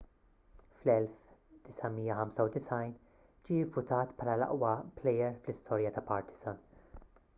fl-1995 ġie vvutat bħala l-aqwa plejer fl-istorja ta' partizan